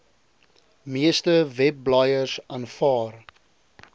meeste webblaaiers aanvaar